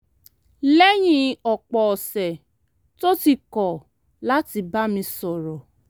lẹ́yìn ọ̀pọ̀ ọ̀sẹ̀ tó ti kọ̀ láti bá mi sọ̀rọ̀